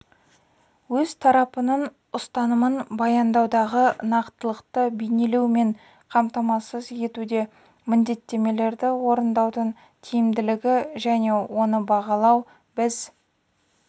өз тарапының ұстанымын баяндаудағы нақтылықты бейнелеу мен қамтамасыз етуде міндеттемелерді орындаудың тиімділігі және оны бағалау біз